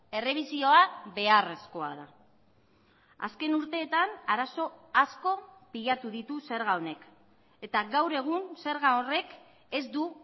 errebisioa beharrezkoa da azken urteetan arazo asko pilatu ditu zerga honek eta gaur egun zerga horrek ez du